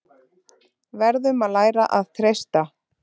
Verðum að læra að treysta